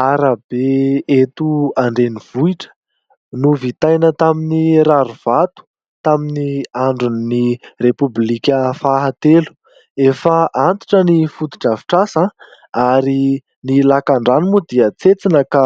Arabe eto an-drenivohitra novitaina tamin'ny rarivato, tamin'ny andron'ny repoblika fahatelo. Efa antitra ny foto-drafitr'asa, ary ny lakan-drano moa dia tsetsina ka